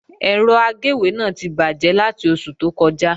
Ẹ̀rọ agéwé náà ti bàjẹ́ láti oṣù tó kọjá